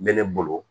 N bɛ ne bolo